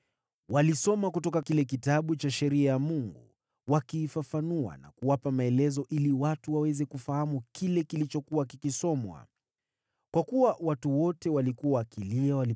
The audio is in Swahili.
Walisoma kutoka kile Kitabu cha Sheria ya Mungu, wakiifafanua na kuwapa maelezo ili watu waweze kufahamu kile kilichokuwa kikisomwa.